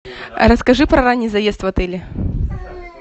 расскажи про ранний заезд в отеле